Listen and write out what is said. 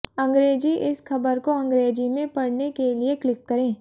अंग्रेजीः इस खबर को अंग्रेजी में पढ़ने के लिए क्लिक करें